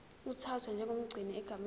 uthathwa njengomgcini egameni